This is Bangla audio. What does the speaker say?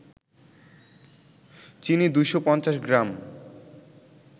চিনি ২৫০ গ্রাম